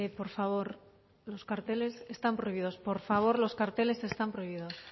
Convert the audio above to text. por favor los carteles están prohibidos por favor los carteles están prohibidos